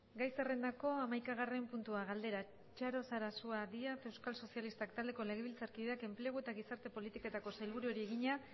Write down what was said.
gai zerrendako hamaikagarren puntua galdera txaro sarasua díaz euskal sozialistak taldeko legebiltzarkideak enplegu eta gizarte politiketako sailburuari egina